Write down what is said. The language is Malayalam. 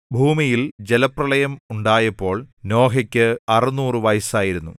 ഭൂമിയിൽ ജലപ്രളയം ഉണ്ടായപ്പോൾ നോഹയ്ക്ക് അറുനൂറു വയസ്സായിരുന്നു